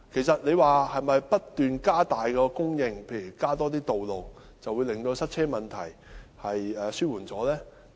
是否不斷增加供應配套，例如增加道路，便可以紓緩塞車問題呢？